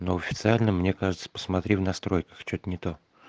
но официально мне кажется посмотри в настройках что-то не то